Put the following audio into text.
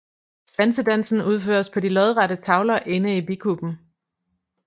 Svansedansen udføres på de lodrette tavler inde i bikuben